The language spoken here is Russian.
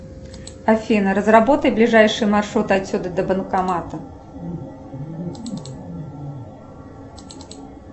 афина разработай ближайший маршрут отсюда до банкомата